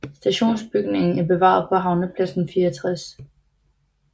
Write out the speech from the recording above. Stationsbygningen er bevaret på Havnepladsen 64